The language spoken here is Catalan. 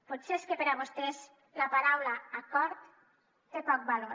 potser és que per a vostès la paraula acord té poc valor